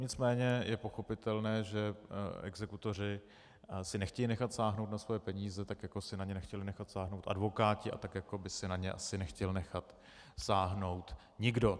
Nicméně je pochopitelné, že exekutoři si nechtějí nechat sáhnout na svoje peníze, tak jako si na ně nechtěli nechat sáhnout advokáti a tak jako by si na ně asi nechtěl nechat sáhnout nikdo.